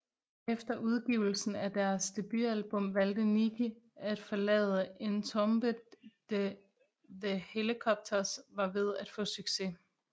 Efter udgivelsen af deres debutalbum valgte Nicke at forlade Entombed da The Hellacopters var ved at få succes